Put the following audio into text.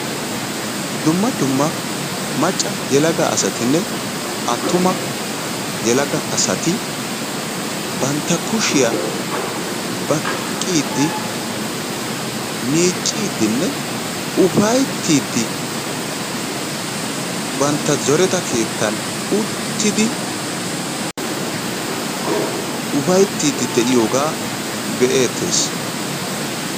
Dumma dumma macca yelaga asatinne attuma asati bantta kushiya baqqiiddi miicciiddinne ufayttiiddi bantta zoreta keettan uttidi ufayttiiddi diyogaa be'eettes.